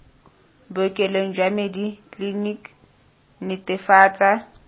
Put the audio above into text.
bookelong jwa medi clinic netefatsa